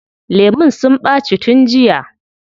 Lemun sun ɓaci tun jiya.